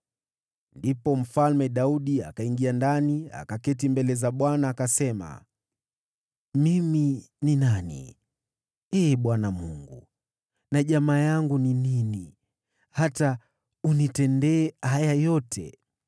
Ndipo Mfalme Daudi akaingia ndani, akaketi mbele za Bwana , akasema: “Mimi ni nani, Ee Bwana Mungu, na jamaa yangu ni nini, hata umenileta mpaka hapa nilipo?